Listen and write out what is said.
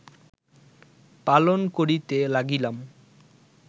পালন করিতে লাগিলাম